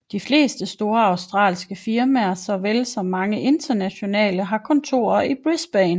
De fleste store australske firmaer såvel som mange internationale har kontorer i Brisbane